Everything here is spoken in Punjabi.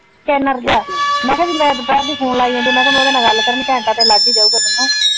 . ਗਿਆ। ਮੈਂ ਕਿਹਾ ਮੈਂ ਵੀ ਦੁਪਹਿਰ ਦੀ ਫੋਨ ਲਾਈ ਜਾਂਦੀ ਮੈਂ ਕਿਹਾ ਉਹਦੇ ਨਾਲ ਗੱਲ ਕਰਨੀ ਘੰਟਾ ਤੇ ਲੱਗ ਈ ਜਾਊਗਾ ਮੈਨੂੰ।